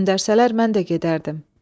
Göndərsələr mən də gedərdim.